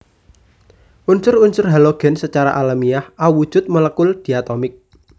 Unsur unsur halogen sacara alamiah awujud molekul diatomik